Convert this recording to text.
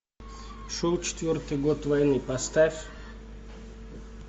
шел четвертый год войны поставь